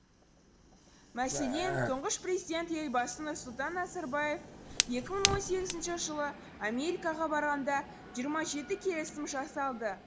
мәселен тұңғыш президент елбасы нұрсұлтан назарбаев екі мың он сегізінші жылы америкаға барғанда жиырма жеті келісім жасалды